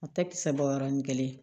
A tɛ kisɛ bɔ yɔrɔnin kelen